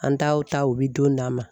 An taw ta u bi don d'a ma.